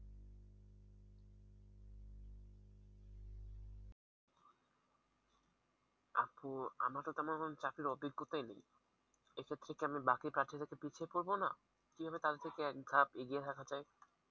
আপু আমার তো তেমন কোন চাকরির অভিজ্ঞতায় নেই এটা থেকে আমি বাকি প্রার্থীদের থেকে পিছিয়ে পড়বো না? কিভাবে তাদের থেকে একধাপ এগিয়ে থাকা যায়?